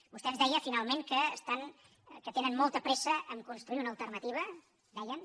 vostè ens deia finalment que tenen molta pressa a construir una alternativa deien